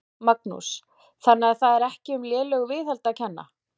Magnús: Þannig að það er ekki um lélegu viðhaldi að kenna?